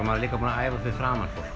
maður líka búinn að æfa fyrir framan fólk